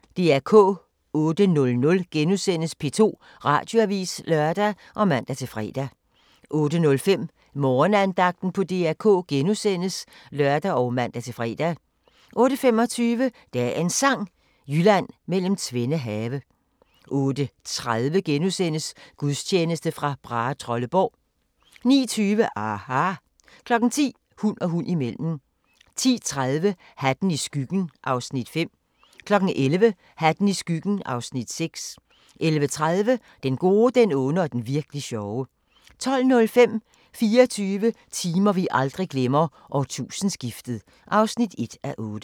08:00: P2 Radioavis *(lør og man-fre) 08:05: Morgenandagten på DR K *(lør og man-fre) 08:25: Dagens Sang: Jylland mellem tvende have 08:30: Gudstjeneste fra Brahetrolleborg * 09:20: aHA! 10:00: Hund og hund imellem 10:30: Hatten i skyggen (Afs. 5) 11:00: Hatten i skyggen (Afs. 6) 11:30: Den gode, den onde og den virk'li sjove 12:05: 24 timer vi aldrig glemmer: Årtusindeskiftet (1:8)